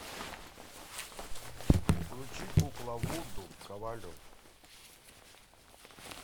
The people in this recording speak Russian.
включи кукла вуду ковалев